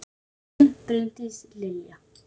Þín, Bryndís Lilja.